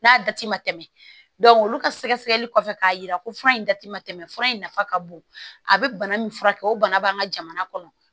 N'a dati ma tɛmɛ olu ka sɛgɛsɛgɛli kɔfɛ k'a yira ko fura in dati ma tɛmɛ fura in nafa ka bon a bɛ bana min furakɛ o bana b'an ka jamana kɔnɔ